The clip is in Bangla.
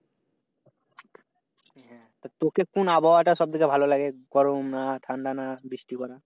তো কোন আবহাওয়া সব চাইতে ভালো লাগে? গরম না ঠান্ডা না বৃষ্টি?